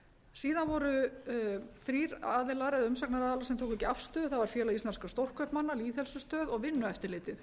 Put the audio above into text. síðan voru þrír aðilar eða umsagnaraðilar sem tóku ekki afstöðu það var félag íslenskra stórkaupmanna lýðheilsustöð og vinnueftirlitið